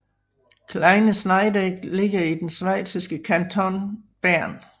Kleine Scheidegg ligger i den schweiziske kanton Bern